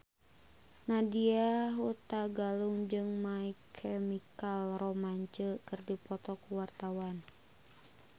Nadya Hutagalung jeung My Chemical Romance keur dipoto ku wartawan